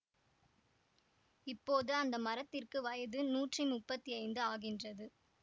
இப்போது அந்த மரத்திற்கு வயது நூற்றி முப்பத்தி ஐந்து ஆகின்றது